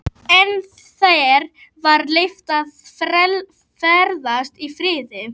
Bergheiður, hvernig er veðurspáin?